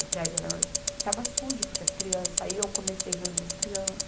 O prédio era, estava sujo porque as crianças... Aí eu comecei a reunir as crianças.